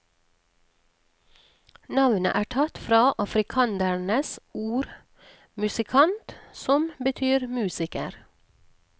Navnet er tatt fra afrikandernes ord musikant, som betyr musiker.